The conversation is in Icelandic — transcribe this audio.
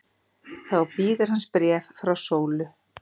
Þá bíður hans bréf frá Sólu.